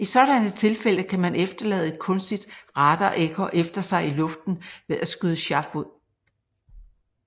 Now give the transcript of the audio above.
I sådanne tilfælde kan man efterlade et kunstigt radarekko efter sig i luften ved at skyde chaff ud